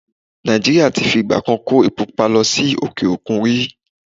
Nà̀ìjíríà ti fi ìgbà kan kó epo pupa lọ sí òkè-òkun rí.